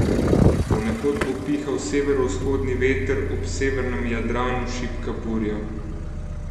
Ponekod bo pihal severovzhodni veter, ob severnem Jadranu šibka burja.